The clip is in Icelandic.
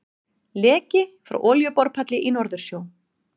Leki frá olíuborpalli í Norðursjó.